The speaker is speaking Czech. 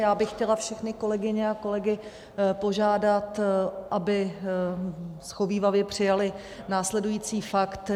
Já bych chtěla všechny kolegyně a kolegy požádat, aby shovívavě přijali následující fakt.